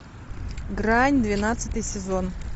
грань двенадцатый сезон